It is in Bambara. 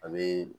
A bee